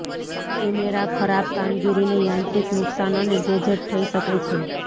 camera ખરાબ કામગીરીને યાંત્રિક નુકસાન અને ગેજેટ થઇ શકે છે